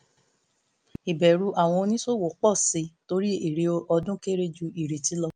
ìbẹ̀rù àwọn oníṣòwò pọ̀ sí i torí èrè ọdún kéré ju ìrètí lọ